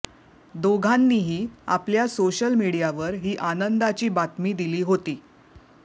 दोघांनीही आपल्या सोशल मीडियावर ही आनंदाची बातमी दिली होती